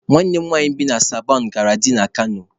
Nwanne m nwanyị bi na Sabọn gari dị na Kano